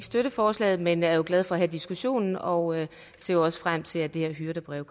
støtte forslaget men vi er jo glade for at have diskussionen og ser også frem til at det her hyrdebrev